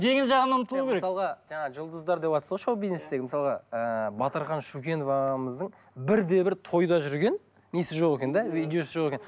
жеңіл жағына ұмытылу керек мысалға жаңа жұлдыздар девтсыз ғой шоу бизнестегі мысалға ыыы батырхан шөкенов ағамыздың бірде бір тойда жүрген несі жоқ екен де видеосы жоқ екен